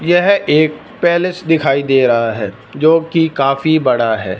यह एक पैलेस दिखाई दे रहा है जो की काफी बड़ा है।